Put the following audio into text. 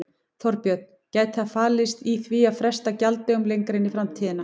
Þorbjörn: Gæti það falist í því að fresta gjalddögunum lengra inn í framtíðina?